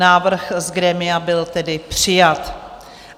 Návrh z grémia byl tedy přijat.